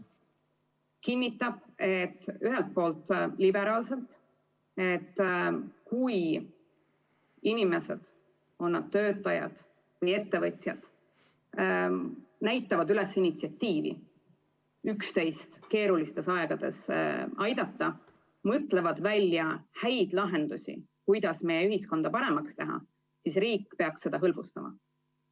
See kinnitab ühelt poolt liberaalselt, et kui inimesed, on nad töötajad või ettevõtjad, näitavad üles initsiatiivi üksteist keerulistel aegadel aidata ja mõtlevad välja häid lahendusi, kuidas meie ühiskonda paremaks teha, siis riik peaks seda hõlbustama.